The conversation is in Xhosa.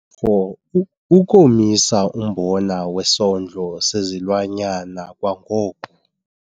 4- Ukomisa umbona wesondlo sezilwanyana kwangoko.